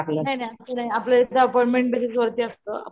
नाही नाही असं नाही आपलं एकदा अपॉइंटमेंट बेसेस वरती असत,